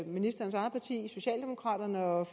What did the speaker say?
ministerens eget parti socialdemokraterne og